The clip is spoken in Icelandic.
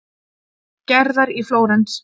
Gerðar í Flórens.